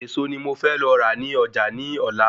Ẹ̀ẹ̀so ni mo fẹ́ lọ rà ni Ọjà ní Ọ̀la